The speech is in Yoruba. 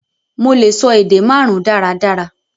Mo lè sọ èdè màrùn daradara